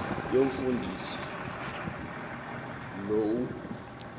yomfundisi l u